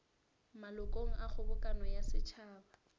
malokong a kgobokano ya setšhaba